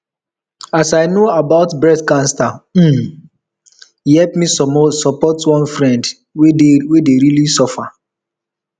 as i know about breast cancer um e help me support one friend wey dey really suffer